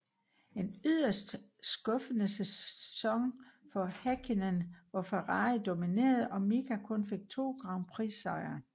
En yderst skuffende sæson for Häkkinen hvor Ferrari dominerede og Mika kun fik 2 grand prix sejre